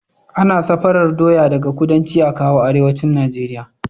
Ana safarar doya daka kudanci akawo arewacin nigeria